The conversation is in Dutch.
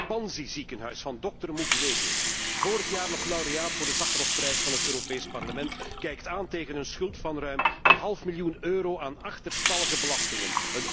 Het Panzi ziekenhuis van dokter Mukwege, vorig jaar nog laureaat van de Sacharovprijs van het Europees Parlement, kijkt aan tegen een schuld van ruim een half miljoen euro aan achterstallige belastingen.